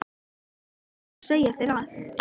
Ég er ekki búin að segja þér allt!